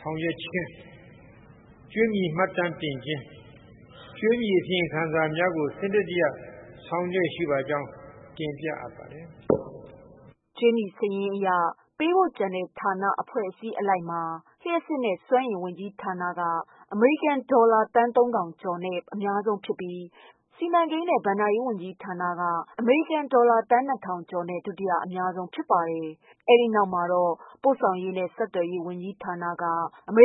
ဆောင်ရွက်ခြင်း၊ ကြွေးမြီမှတ်တမ်းတင်ခြင်း၊ ကြွေးမြီအစီရင်ခံစာများကို စနစ်တကျဆောင်ရွက်လျက်ရှိကြောင်း တင်ပြပါတယ်။" ကြွေးမြီစာရင်းအရ ပေးဖို့ကျန်တဲ့ ဌာန၊ အဖွဲ့အစည်းအလိုက်မှာ လျှပ်စစ်နဲ့ စွမ်းအင် ဝန်ကြီးဌာနက အမေရိကန်ဒေါ်လာ သန်း ၃ ထောင်ကျော်နဲ့ အများဆုံးဖြစ်ပြီး စီမံကိန်းနဲ့ ဘဏ္ဍာရေးက အမေရိကန်ဒေါ်လာ သန်း ၂ ထောင်ကျော်နဲ့ ဒုတိယ အများဆုံးဖြစ် ပါတယ်။ ပို့ဆောင်ရေးနှင့်ဆက်သွယ်ရေးက အမေ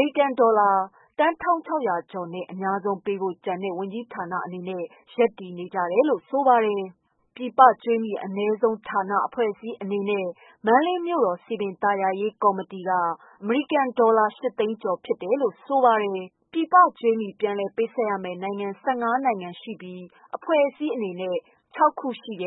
ရိကန်ဒေါ်လာ သန်း ၁၆၀၀ ကျော်နဲ့ အများဆုံးပေးဖို့ကျန်တဲ့ ဝန်ကြီးဌာနအနေနဲ့ရပ်တည်နေကြတယ်လို့ဆိုပါတယ်။ ပြည်ပကြွေးမြီအနည်းဆုံး ဌာန၊ အဖွဲ့အစည်းအနေနဲ့ မန္တလေးမြို့တော် စည်ပင် သာယာ ရေးကော်မတီက အမေရိ ကန်ဒေါ်လာ ၈ သိန်းကျော် ဖြစ်တယ်လို့ဆိုပါတယ်။ ပြန်လည် ပေးဆပ်ရမယ့် နိုင်ငံ ၁၅ နိုင်ငံနဲ့ အဖွဲ့အစည်း ၆ ခု ဖြစ်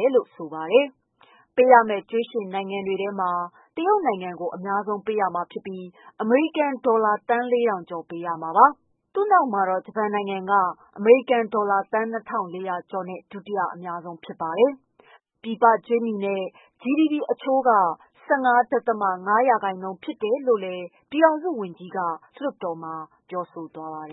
ပါတယ်။ ပေးရမယ့် ကြွေးရှင်နိုင်ငံတွေထဲမှာ တရုတ်နိုင်ငံကို အများဆုံးပေးရမှာဖြစ်ပြီး အမေရိကန်ဒေါ်လာ သန်း ၄၀၀၀ ကျော်ပေးရမှာပါ။ သူ့နောက်မှာတော့ ဂျပန်နိုင်ငံက အမေရိ ကန်ဒေါ်လာ သန်း ၂၄၀၀ ကျော်နဲ့ ဒုတိယ အများဆုံးဖြစ်ပါတယ်။ ပြည်ပကြွေးမြီနဲ့ GDP အချိုးမှာ ၁၅ ဒသမ ၅ ရာခိုင်နှုန်းဖြစ်တယ်လို့လည်း ပြည်ထောင်စု ဝန်ကြီးက ဆိုထားပါတယ်